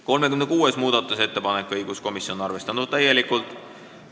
36. muudatusettepanek, õiguskomisjon on täielikult arvestanud.